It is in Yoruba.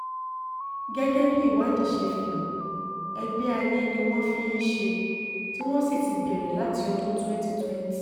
gẹ́gẹ́ bí um ìwádìí ṣe fihan ẹgbẹ́ ayé ni wọ́n ń ṣe tí wọ́n sì ti um bẹ̀rẹ̀ láti ọdún twenty twenty